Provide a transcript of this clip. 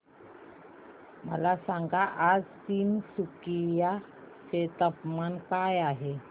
मला सांगा आज तिनसुकिया चे तापमान काय आहे